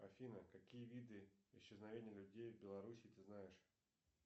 афина какие виды исчезновения людей в белоруссии ты знаешь